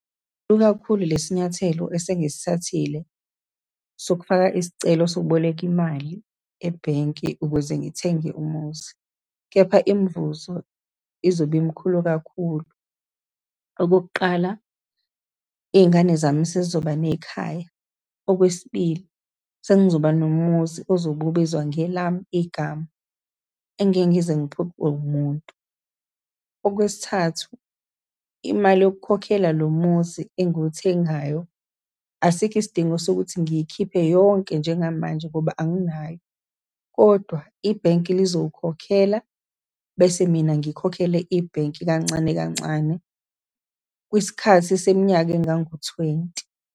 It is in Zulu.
kakhulu lesinyathelo esengisithathile, sokufaka isicelo sokuboleka imali ebhenki ukuze ngithenge umuzi. Kepha imvuzo izobe imkhulu kakhulu. Okokuqala, iy'ngane zami sezizoba nekhaya. Okwesibili, sengizoba nomuzi ozobe ubizwa ngelami igama, engingeke ngize ngiphucwe umuntu. Okwesithathu, imali yokukhokhela lo muzi engiwuthengayo, asikho isidingo sokuthi ngiyikhiphe yonke njengamanje, ngoba anginayo, kodwa ibhenki lizowukhokhela, bese mina ngikhokhele ibhenki kancane kancane, isikhathi seminyaka engango-twenty.